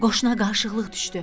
Qoşuna qarışıqlıq düşdü.